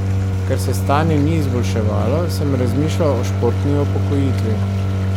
Ker se stanje ni izboljševalo, sem razmišljal o športni upokojitvi.